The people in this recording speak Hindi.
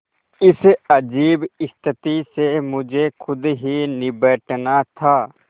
इस अजीब स्थिति से मुझे खुद ही निबटना था